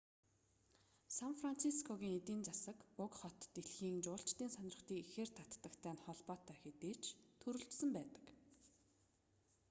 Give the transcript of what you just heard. сан францискогийн эдийн засаг уг хот дэлхийн жуулчдын сонирхлыг ихээр татдагтай нь холбоотой хэдий ч төрөлжсөн байдаг